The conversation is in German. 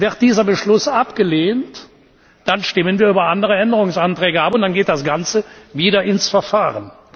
Wird dieser Beschluss abgelehnt, dann stimmen wir über andere Änderungsanträge ab und dann geht das Ganze wieder ins Verfahren.